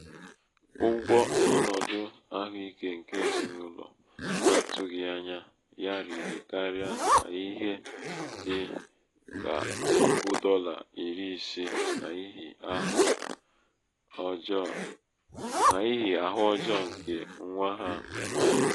ụgwọ ọnọdụ ahụike nke ezinaụlọ n'atụghị ányá ya rịrị karia n'ihe di.la puku dọla iri ise n'ihi ahụ ọjọọ nke nwa ha nwanyị um